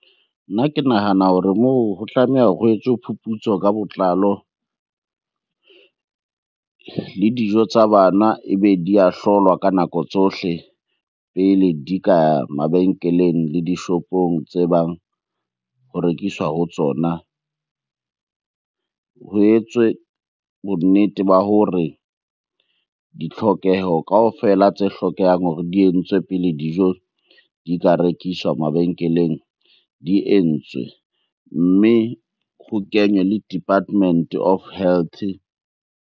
Nna ke nahana hore moo ho tlameha hore ho etswe phuputso ka botlalo. Le dijo tsa bana ebe di a hlolwa ka nako tsohle pele di ka ya mabenkeleng le dishopong tse bang ho rekiswa ho tsona. Ho etswe bonnete ba hore ditlhokeho kaofela tse hlokehang hore di entswe pele dijo di ka rekiswa mabenkeleng di entswe. Mme ho kenywe le Department of Health.